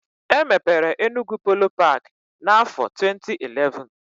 E mepere Enugwu Polo paki n'afọ 2011